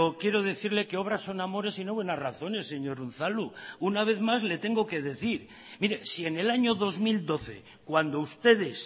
quiero decirle que obras son amores y no buenas razones señor unzalu una vez más le tengo que decir mire si en el año dos mil doce cuando ustedes